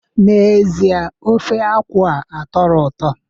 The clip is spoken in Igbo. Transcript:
N'ezie, ofe akwu a atọrọ ụtọ